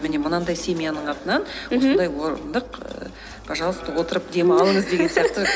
міне мына мынадай семьяның атынан мхм осындай орындық ііі пожалуйста отырып демалыңыз деген сияқты